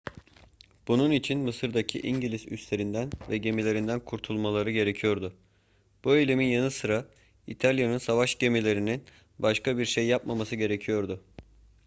bunun için mısır'daki i̇ngiliz üslerinden ve gemilerinden kurtulmaları gerekiyordu. bu eylemlerin yanı sıra i̇talya'nın savaş gemilerinin başka bir şey yapmaması gerekiyordu